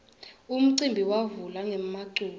umcimbi wavula ngemaculo